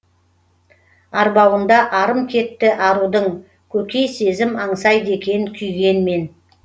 арбауында арым кетті арудың көкей сезім аңсайды екен күйгенмен